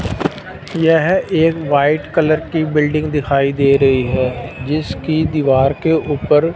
यह एक white colour की बिल्डिंग दिखाई दे रही है जिसकी दीवार के ऊपर--